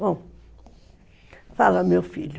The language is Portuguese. Bom, fala, meu filho.